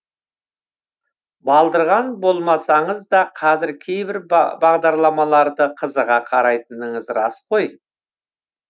балдырған болмасаңыз да қазір кейбір бағдарламаларды қызыға қарайтыныңыз рас қой